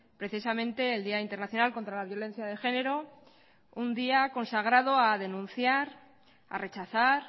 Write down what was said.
precisamente el día internacional contra la violencia de género un día consagrado a denunciar a rechazar